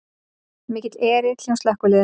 Mikill erill hjá slökkviliðinu